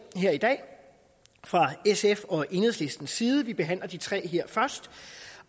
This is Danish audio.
her i dag fra sf og enhedslistens side og vi behandler de tre her først